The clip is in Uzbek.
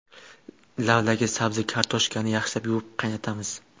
Lavlagi, sabzi va kartoshkani yaxshilab yuvib, qaynatamiz.